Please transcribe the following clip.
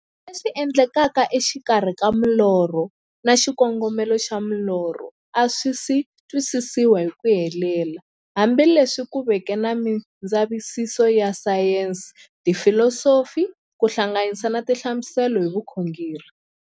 Leswi endlekaka e xikarhi ka milorho na xikongomelo xa milorho a swisi twisisiwa hi ku helela, hambi leswi ku veke na mindzavisiso ya sayensi, filosofi ku hlanganisa na tinhlamuselo hi vukhongori.